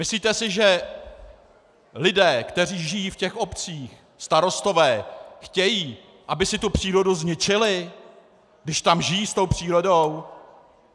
Myslíte si, že lidé, kteří žijí v těch obcích, starostové, chtějí, aby si tu přírodu zničili, když tam žijí s tou přírodou?